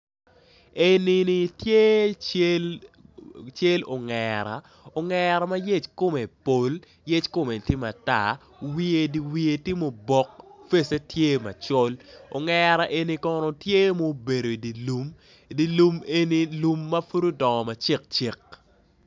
Enini tye cel ongera ongera ma yec kome pol, yec kome tye matar wiye dyer wiye tye mao bok face tye macol, ongera eni tye ma obedo i dyer lum, lum enini mapud odongo macek cek.